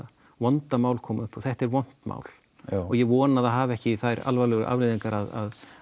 vonda mál kom upp og þetta er vont mál já og ég vona að það hafi ekki þær alvarlegu afleiðingar að